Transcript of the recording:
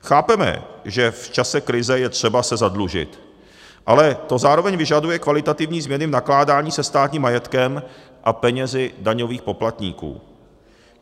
Chápeme, že v čase krize je třeba se zadlužit, ale to zároveň vyžaduje kvalitativní změny v nakládání se státním majetkem a penězi daňových poplatníků.